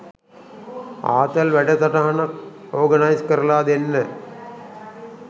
ආතල් වැඩ සටහනක් ඕගනයිස් කරලා දෙන්න